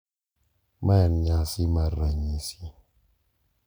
Mae en nyasi mar ranyisi.